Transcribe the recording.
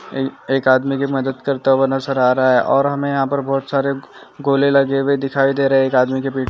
ये एक आदमी की मदद करता हुआ नजर आ रहा है। और हमें यहाँ पर बहुत सारे गोले लगे हुए दिखाई दे रहे है। एक आदमी की पीठ--